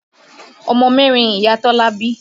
Ọmọ mẹ́rin Ìyá Tọ́lá bí.